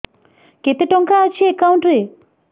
କେତେ ଟଙ୍କା ଅଛି ଏକାଉଣ୍ଟ୍ ରେ